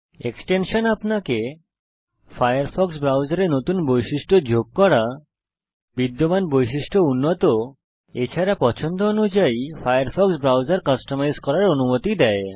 extension আপনাকে Firefox ব্রাউজারে নতুন বৈশিষ্ট্য যোগ করা বিদ্যমান বৈশিষ্ট্য উন্নত এছাড়া পছন্দ অনুযায়ী ফায়ারফক্স ব্রাউজার কাস্টমাইজ করার অনুমতি দেয়